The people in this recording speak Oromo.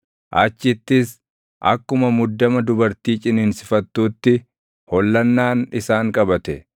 Achittis akkuma muddama dubartii ciniinsifattuutti, hollannaan isaan qabate.